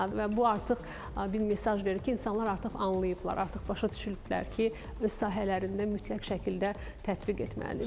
Və bu artıq bir mesaj verir ki, insanlar artıq anlayıblar, artıq başa düşüblər ki, öz sahələrində mütləq şəkildə tətbiq etməlidirlər.